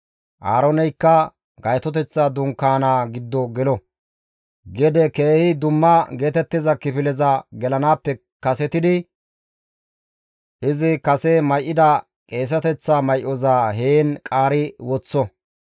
«Aarooneykka gaytoteththa dunkaanaa giddo gelo; gede keehi dumma geetettiza kifileza gelanaappe kasetidi izi kase may7ida qeeseteththa may7oza heen qaari woththo.